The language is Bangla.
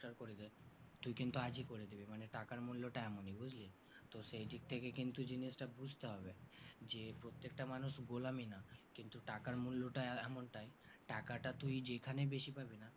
তুই কিন্তু আজই করে দিবি মানে টাকার মূল্যটা এমনি বুজলি তো সেই দিক থেকে কিন্তু জিনিসটা বুজতে হবে যে প্রত্যেকটা মানুষ গোলামী না কিন্তু টাকার মূল্যটা এমনটাই টাকাটা তুই যেই খানে বেশি পাবিনা